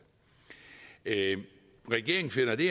regeringen finder det